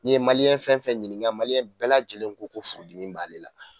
N'i ye fɛn fɛn ɲiniŋa bɛɛ lajɛlen ko ko furudimi b'ale la